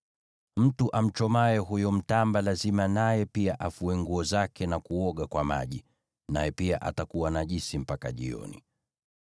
Mtu amchomaye huyo mtamba lazima naye pia afue nguo zake na kuoga kwa maji, naye pia atakuwa najisi mpaka jioni.